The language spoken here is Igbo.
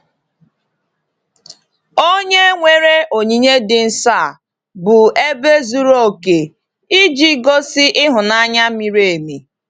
Onye-nwere onyinye dị nsọ a bụ ebe zuru oke iji gosi ịhụnanya miri emi.